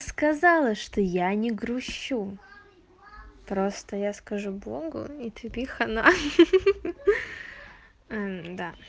сказала что я не грущу просто я скажу богу и тебе хана да